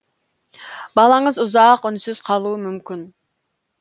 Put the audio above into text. балаңыз ұзақ үнсіз қалуы мүмкін